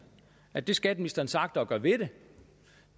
at det skatteministeren så agter at gøre ved det